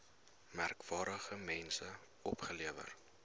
merkwaardige mense opgelewer